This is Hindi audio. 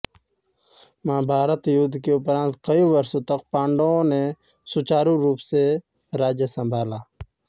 महाभारत युद्ध के उपरांत कई वर्षों तक पांडवों ने सुचारू रूप से राज्य संभाला